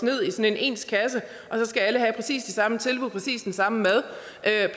ned i ens kasser og så skal alle have præcis de samme tilbud præcis den samme mad